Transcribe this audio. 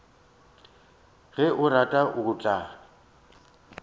ge a rata o tla